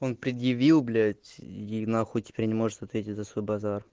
он предъявил блять и нахуй теперь не может ответить за свой базар